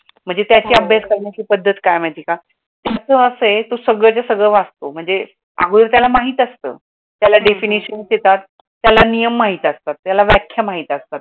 म्हणजे त्याची अभ्यास करण्याची पद्धत काय आहे माहित आहे का, असं आहे ते सगळं ते सगळं वाचतो, अग त्याला सगळं माहित असतं त्याला definitions येतात नियम माहीत असतात त्याला व्याख्या माहीत असतात.